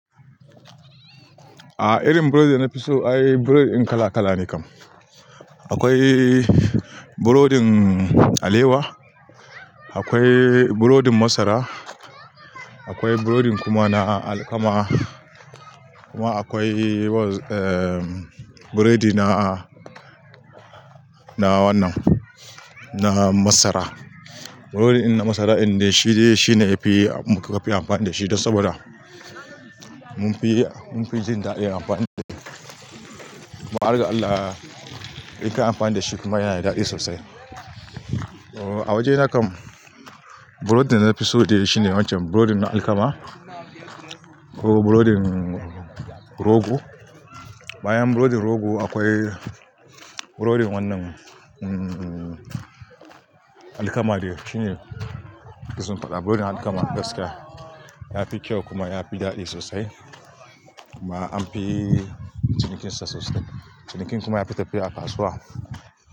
A'a, irin burodi da na fi so, ai burodi kala kala ne kam. Akwai burodin alewa, akwai burodin masara, akwai burodin kuma na alkama, kuma akwai, eh, burodi na, na wannan, na masara. Burodin na masara, indai shi ne, shi ne mu ka fi amfani da shi dan saboda munfi, munfi jin daɗin amfani da shi. Kuma a harga Allah in ka yi amfani da shi kuma yana da daɗi sosai. Oh, a waje na kam, burodin da na fi so dai shi ne wancan burodin na alkama ko burodin rogo. Bayan burodin rogo, akwai burodin wannan, mm, alkama de shi ne na fi son faɗta. Burodin alkama gaskiya ya fi kyau kuma ya fi daɗi sosai. Kuma an fi cinikinsa sosai. Ciniki kuma ya fi tafiya a kasuwa.